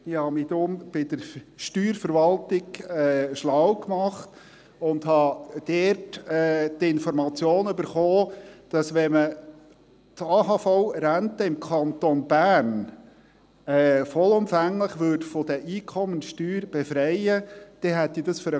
Ich habe mich deshalb bei der Steuerverwaltung schlau gemacht und dort die Information erhalten, dass es für den Kanton Bern Steuerausfälle von 515 Mio. Franken pro Jahr zur Folge hätte, wenn man die AHV-Rente vollumfänglich von der Einkommenssteuer befreien würde.